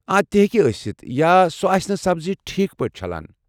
آ تہِ ہیٚکہِ ٲسِتھ یا سۄ آسہِ نہٕ سبزی ٹھیٖک پٲٹھۍ چھلان۔